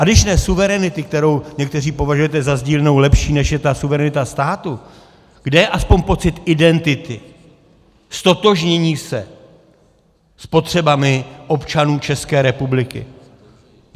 A když ne suverenity, kterou někteří považujete za sdílnou (?) lepší, než je ta suverenita státu, kde je aspoň pocit identity, ztotožnění se s potřebami občanů České republiky?